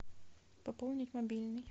пополнить мобильный